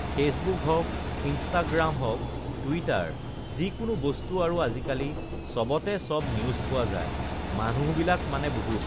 Facebook হওঁক, Instagram হওঁক, Twitter যিকোনো বস্তু আৰু আজিকালি চবতে চব নিউজ পোৱা যায় মানুহবিলাক মানে বহুত